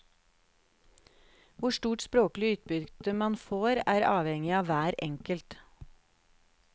Hvor stort språklig utbytte man får, er avhengig av hver enkelt.